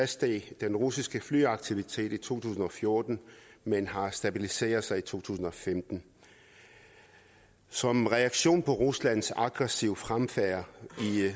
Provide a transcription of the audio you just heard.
steg den russiske flyaktivitet i to tusind og fjorten men den har stabiliseret sig i to tusind og femten som reaktion på ruslands aggressive fremfærd